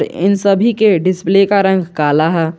इन सभी के डिस्प्ले का रंग काला है।